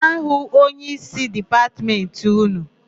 Gaa hụ onyeísí Dipatmentị ụnụ!